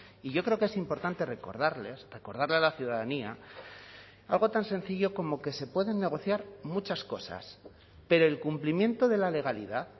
y yo creo que es importante recordarles recordarle a la ciudadanía algo tan sencillo como que se pueden negociar muchas cosas pero el cumplimiento de la legalidad